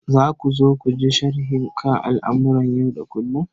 Za ku so ku ji sharhi kan al'amuran yau da kullum?